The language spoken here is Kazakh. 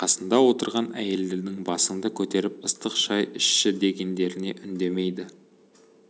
қасында отырған әйелдердің басыңды көтеріп ыстық шай ішші дегендеріне үндемейді